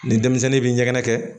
Ni denmisɛnnin bɛ ɲɛgɛnɛ kɛ